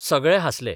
सगळे हांसले.